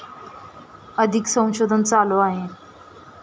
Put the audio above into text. अधिक संशोधन चालू आहे